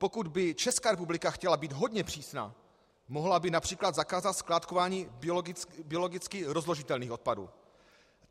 Pokud by Česká republika chtěla být hodně přísná, mohla by například zakázat skládkování biologicky rozložitelných odpadů.